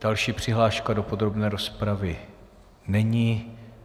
Další přihláška do podrobné rozpravy není.